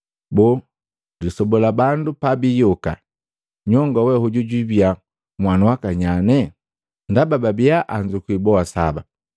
Boo, lisoba la bandu pabiyoka, nyongoo we hoju jwiibia nhwanu waka nyane? Ndaba babia anzukwi boa saba.”